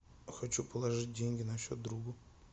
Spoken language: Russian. хочу положить деньги на счет другу